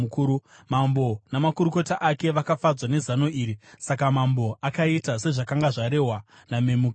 Mambo namakurukota ake vakafadzwa nezano iri, saka mambo akaita sezvakanga zvarehwa naMemukani.